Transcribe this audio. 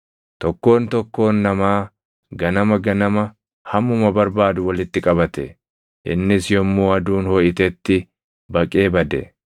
Tokkoon tokkoon namaa ganama ganama hammuma barbaadu walitti qabate; innis yommuu aduun hoʼitetti baqee bade.